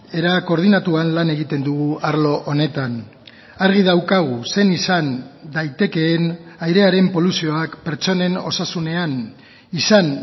era koordinatuan lan egiten dugu arlo honetan argi daukagu zein izan daitekeen airearen poluzioak pertsonen osasunean izan